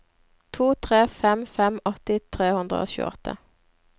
to tre fem fem åtti tre hundre og tjueåtte